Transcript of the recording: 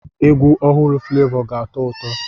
Egwu ọhụrụ Fulevo ga-atọ ụtọ.